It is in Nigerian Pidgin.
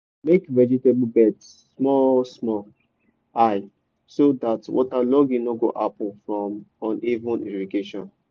make vegetable beds small small high so dat waterlogging no go happen from uneven irrigation.